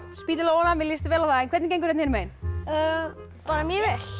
spýta í lófana mér líst vel á það en hvernig gengur hérna megin bara mjög vel